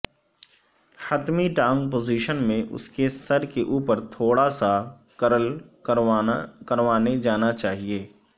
حتمی ٹانگ پوزیشن میں اس کے سر کے اوپر تھوڑا سا کرل کروانے جانا چاہئے